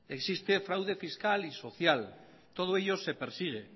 existe fraude fiscal y social todo ello se persigue